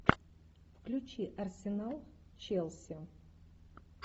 включи арсенал челси